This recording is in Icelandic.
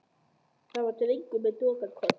Það er drengur með dökkan koll.